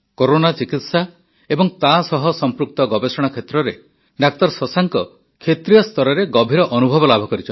corona ଚିକିତ୍ସା ଏବଂ ତାସହ ସମ୍ପୃକ୍ତ ଗବେଷଣା କ୍ଷେତ୍ରରେ ଡାକ୍ତର ଶଶାଙ୍କ କ୍ଷେତ୍ରୀୟ ସ୍ତରରେ ଗଭୀର ଅନୁଭବ ଲାଭ କରିଛନ୍ତି